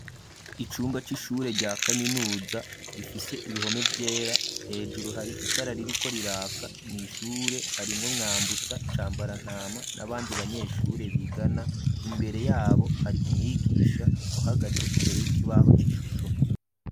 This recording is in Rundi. Icumba c'ishure rya kaminuza gifise ibihome vyera hejuru hari itara ririkoriraka mwishure harimwo Mwambutsa, Cambarantama n'abandi banyeshure bigana imbere yabo hari umwigisha uhagaze imbere y'ikibaho c'ishusho.